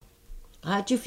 Radio 4